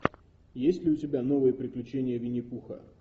есть ли у тебя новые приключения винни пуха